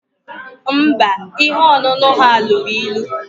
Mba, ihe ọṅụṅụ ha lụrụ ịlu